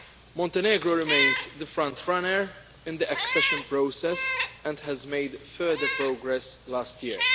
Montenegro remains the frontrunner in the accession process and it made further progress last year.